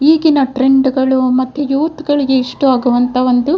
ಈಗಿನ ಟ್ರೆಂಡ್‌ಗಳು ಮತ್ತು ಯೂತ್‌ಗಳಿಗೆ ಇಷ್ಟವಾಗುವಂತ ಒಂದು --